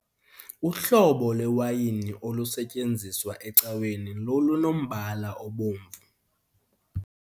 Uhlobo lwewayini olusetyenziswa ecaweni lolunombala obomvu.